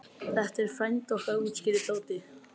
Þetta er frændi okkar útskýrði Tóti.